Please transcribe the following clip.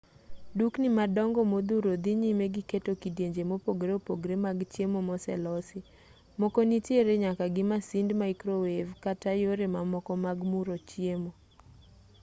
dukni madongo modhuro dhi nyime gi keto kidienje mopogore opogore mag chiemo moselosi moko nitiere nyaka gi masind maikrowev kata yore mamoko mag muro chiemo